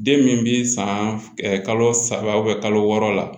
Den min bi san kalo saba kalo wɔɔrɔ la